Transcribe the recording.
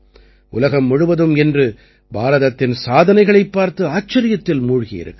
உலகம் முழுவதும் இன்று பாரதத்தின் சாதனைகளைப் பார்த்து ஆச்சரியத்தில் மூழ்கியிருக்கிறது